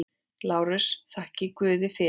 LÁRUS: Þakkið guði fyrir.